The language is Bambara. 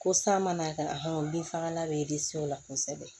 Ko san mana kɛ a bin fagala bɛ disi o la kosɛbɛ